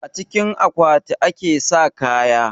A cikin akwati ake sa kaya